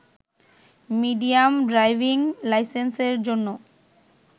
medium driving লাইসেন্সের জন্য